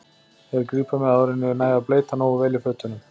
Þeir grípa mig áður en ég næ að bleyta nógu vel í fötunum.